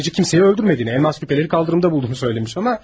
Boyacı kimseyi öldürmədiyini, elmas küpələri kaldırımda bulduğunu söylemiş ona.